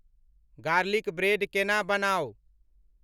Garlic bread केना बनाउ ?